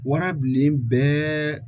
Warabilen bɛɛ